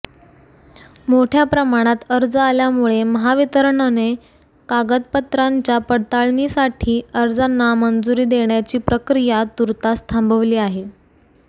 मोठ्या प्रमाणात अर्ज आल्यामुळे महावितरणने कागदपत्रांच्या पडताळणीसाठी अर्जांना मंजुरी देण्याची प्रक्रिया तूर्तास थांबविली आहे